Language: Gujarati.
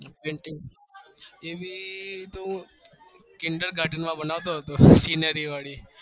એવી તો kindal garden માં હતો ત્યરે બનાવતો હતો